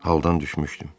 Haldan düşmüşdüm.